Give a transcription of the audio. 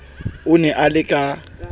o ne a le ka